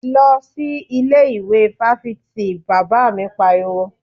Lọ sí ilé ìwé fáfitì! Bàbá mi pariwo.